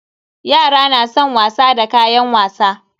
Yara na san wasa da kayan wasa.